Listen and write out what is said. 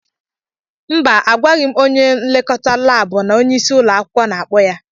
Mba, agwaghị m onye nlekọta laabụ na onyeisi ụlọ akwụkwọ na-akpọ ya.